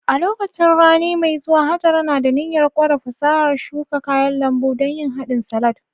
A lokacin rani mai zuwa, Hajara na da niyyar ƙware fasahar shuka kayan lambu don yin hadin salad